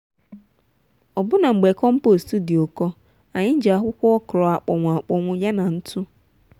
ọbụna mgbe compost dị ụkọ anyị ji akwụkwọ okra akpọnwụ akpọnwụ yana ntụ.